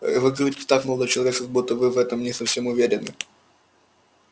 вы говорите так молодой человек как будто вы в этом не совсем уверены